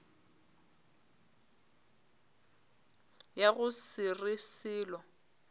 ya go se re selo